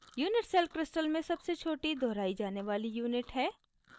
unit cell crystal में सबसे छोटी दोहराई जाने वाली unit है